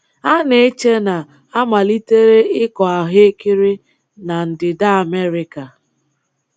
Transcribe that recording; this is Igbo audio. A na-eche na a malitere ịkọ ahụekere na Ndịda Amerịka.